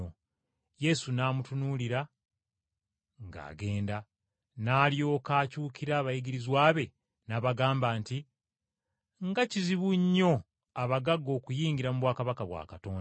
Yesu n’amutunuulira ng’agenda, n’alyoka akyukira abayigirizwa be, n’abagamba nti, “Nga kizibu nnyo abagagga okuyingira mu bwakabaka bwa Katonda!”